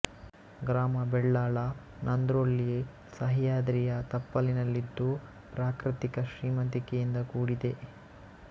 ಗ್ರಾಮ ಬೆಳ್ಳಾಳ ನಂದ್ರೊಳ್ಳಿ ಸಹ್ಯಾದ್ರಿಯ ತಪ್ಪಲಿನಲ್ಲಿದ್ದು ಪ್ರಾಕೃತಿಕ ಶ್ರೀಮಂತಿಕೆಯಿಂದ ಕೂಡಿದೆ